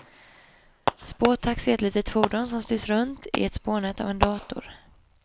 Spårtaxi är ett litet fordon som styrs runt i ett spårnät av en dator.